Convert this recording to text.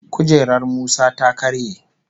Kujerar Musa ta karye